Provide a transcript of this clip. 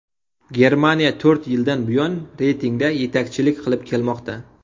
Germaniya to‘rt yildan buyon reytingda yetakchilik qilib kelmoqda.